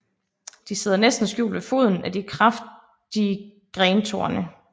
De sidder næsten skjult ved foden af de kraftige grentorne